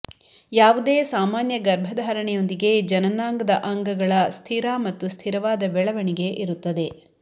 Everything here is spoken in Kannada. ಯಾವುದೇ ಸಾಮಾನ್ಯ ಗರ್ಭಧಾರಣೆಯೊಂದಿಗೆ ಜನನಾಂಗದ ಅಂಗಗಳ ಸ್ಥಿರ ಮತ್ತು ಸ್ಥಿರವಾದ ಬೆಳವಣಿಗೆ ಇರುತ್ತದೆ